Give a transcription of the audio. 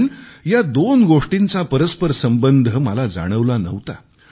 पण या दोन गोष्टींचा परस्परसंबंध मला जाणवला नव्हता